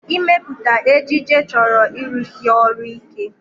Ịmepụta ejiji chọrọ ịrụsi ọrụ ike